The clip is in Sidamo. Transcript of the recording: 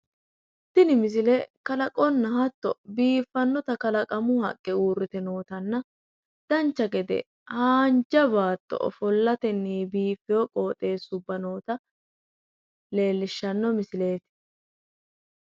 Tini misile kalaqonna hatto biiffanno kalaqamu haqqe uurrite nootanna dancha gede haanja baatto ofollatenni biiffino baatto noota leellishshanno misileeti.